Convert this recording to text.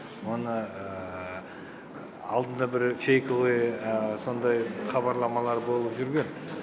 мұны алдында бір фейковый сондай хабарламалар болып жүрген